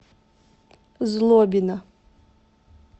злобина